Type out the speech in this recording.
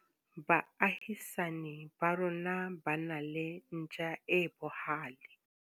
Baahisani ba rona ba na le ntja e bohale.